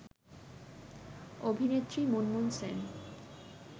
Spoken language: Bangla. অভিনেত্রী মুনমুন সেন